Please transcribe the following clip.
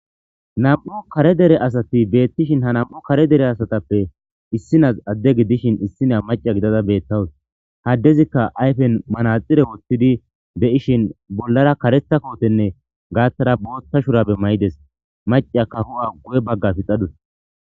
Nam'u kare dere asati betishi ha nam'u kare dere asatape issinas ade gidishn issinya maca gidada betawus ha adezika ayfen manaxire wothidi de'ishin bollara karetha kotenne gathara botha shurabe mayides maca ka hu'a guye baga pixadus